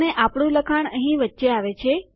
અને આપણું લખાણ અહીં વચ્ચે આવે છે